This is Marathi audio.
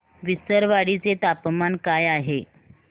विसरवाडी चे तापमान काय आहे